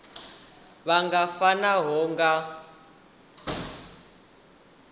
vha pfana ngaho vha nga